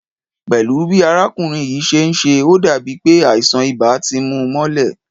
Pẹ́lú bi arákùnrin yìí ṣe ń ṣe, ó dàbí pé àìsàn ibà ti mú u mọ́lẹ̀